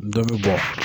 Dɔ bɛ bɔ